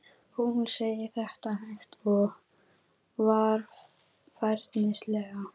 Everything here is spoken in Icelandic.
Hún segir þetta hægt og varfærnislega.